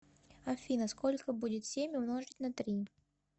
афина сколько будет семь умножить на три